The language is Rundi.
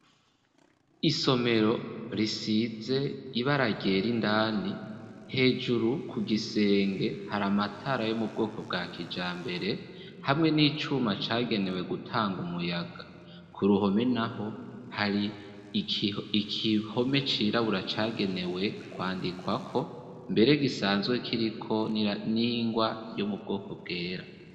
Isomero risize ibara ryera indani, hejuru ku gisenge hari amatara yo mu bwoko bwa kijambere hamwe n'icuma cagenewe gutanga umuyaga, ku ruhome naho hari ikihome cirabura cagenewe kwandikwako mbere gisanzwe kiriko n'ingwa yo mu bwoko bwera.